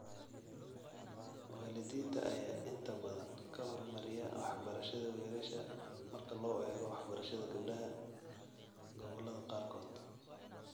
Waalidiinta ayaa inta badan ka hormariya waxbarashada wiilasha marka loo eego waxbarashada gabdhaha gobollada qaarkood.